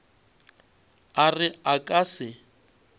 a re a ka se